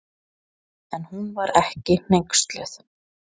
En hún var ekki hneyksluð.